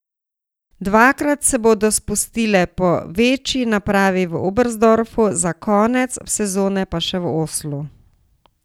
Dvakrat se bodo spustile po večji napravi v Oberstdorfu, za konec sezone pa še v Oslu.